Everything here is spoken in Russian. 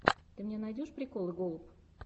ты мне найдешь приколы голуб